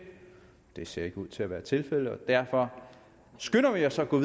det ser ikke ud til at være tilfældet og derfor skynder vi os at gå